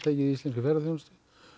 í íslenskri ferðaþjónustu